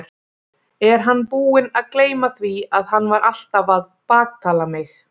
Er hann búinn að gleyma því að hann var alltaf að baktala mig?